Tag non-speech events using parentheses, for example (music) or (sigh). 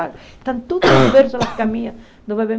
Estão todos os (coughs) bersos nas caminhas do bebê.